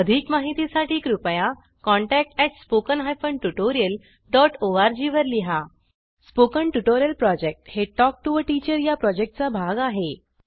अधिक माहितीसाठी कृपया contact at spoken hyphen tutorial dot O R G वर लिहा स्पोकन ट्युटोरियल प्रॉजेक्ट हे टॉक टू टीचर या प्रॉजेक्टचा भाग आहे